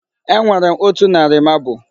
Enwere m otu narị marble.